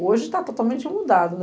Hoje está totalmente mudado né.